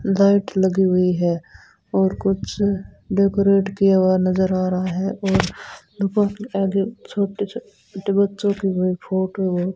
light लगी हुई है और कुछ डेकोरेट किया हुआ नजर आ रहा है और रुको आगे छोटे छोटे बच्चों की है फोटो वो --